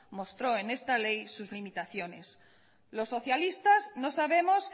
mostró en esta ley sus limitaciones los socialistas no sabemos